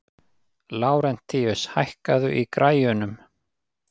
Lárentíus, hækkaðu í græjunum.